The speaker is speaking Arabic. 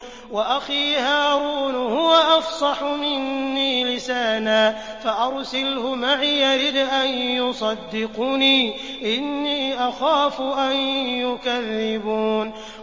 وَأَخِي هَارُونُ هُوَ أَفْصَحُ مِنِّي لِسَانًا فَأَرْسِلْهُ مَعِيَ رِدْءًا يُصَدِّقُنِي ۖ إِنِّي أَخَافُ أَن يُكَذِّبُونِ